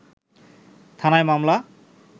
থানায় মামলা